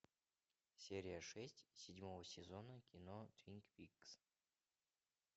серия шесть седьмого сезона кино твин пикс